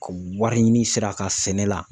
Ka wari ɲini sira ka sɛnɛ la.